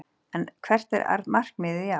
En hvert er markmiðið í ár?